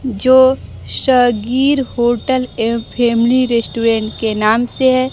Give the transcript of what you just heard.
जो सगीर होटल एवं family restaurant के नाम से है।